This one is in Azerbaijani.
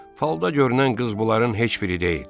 Falda görünən qız bunların heç biri deyil.